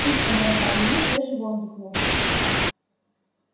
птичка дорогая ему свежий воздух нужен